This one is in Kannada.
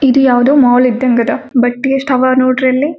ಇದು ಯಾವ್ದೋ ಮಾಲ್ ಇದ್ದಂಗ ಅದ ಬಟ್ ಯೆಸ್ಟ್ ಹವಾ ನೋಡ್ರಿ ಅಲ್ಲಿ.